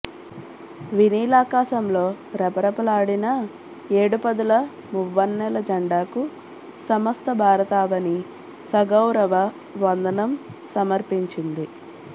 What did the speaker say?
వినీలాకాశంలో రెపరెపలాడిన ఏడు పదుల మువ్వనె్నల ఝండాకు సమస్త భారతావని సగౌరవ వందనం సమర్పించింది